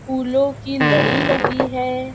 फूलो की लड़ी लगी है।